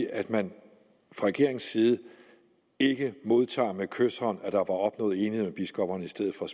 at man fra regeringens side ikke med kyshånd tager der var opnået enighed hos biskopperne i stedet for